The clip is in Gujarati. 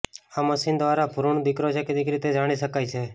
આ મશીન દ્વારા ભ્રૂણ દીકરો છે કે દીકરી તે જાણી શકાય છે